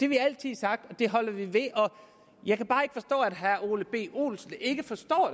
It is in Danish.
vi altid sagt og det holder vi fast i jeg kan bare ikke forstå at herre ole b olesen ikke forstår